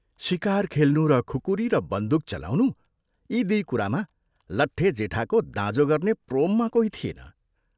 शिकार खेल्नु र खुकुरी र बन्दूक चलाउनु यी दुइ कुरामा लट्टे जेठाको दाँजो गर्ने प्रोममा कोही थिएन।